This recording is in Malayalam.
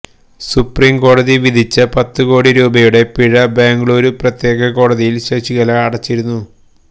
സുപ്രീം കോടതി വിധിച്ച പത്ത് കോടി രൂപയുടെ പിഴ ബംഗ്ലൂരു പ്രത്യേക കോടതിയില് ശശികല അടച്ചിരുന്നു